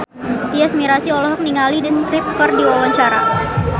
Tyas Mirasih olohok ningali The Script keur diwawancara